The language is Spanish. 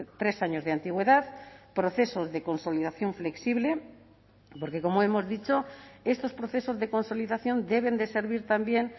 tres años de antigüedad procesos de consolidación flexible porque como hemos dicho estos procesos de consolidación deben de servir también